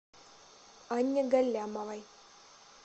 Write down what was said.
анне галлямовой